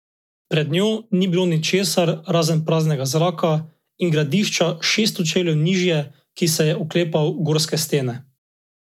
Pred njo ni bilo ničesar razen praznega zraka in gradiča šeststo čevljev nižje, ki se je oklepal gorske stene.